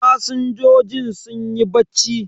Fasinjojin sunyi bacci.